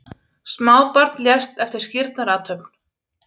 Smábarn lést eftir skírnarathöfn